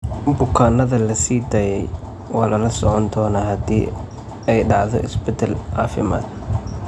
Bukaanada la sii daayay waa lala socon doonaa haddii ay dhacdo isbedel caafimaad.